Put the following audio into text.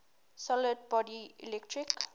solid body electric